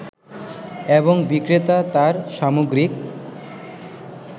এবং বিক্রেতা তার সামগ্রিক